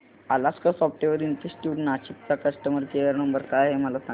Alaska software institute Nashik चा customer care number काय आहे मला सांग